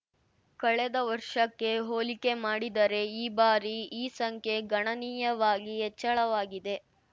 ಕಳೆದ ವರ್ಷಕ್ಕೆ ಹೋಲಿಕೆ ಮಾಡಿದರೆ ಈ ಬಾರಿ ಈ ಸಂಖ್ಯೆ ಗಣನೀಯವಾಗಿ ಹೆಚ್ಚಳವಾಗಿದೆ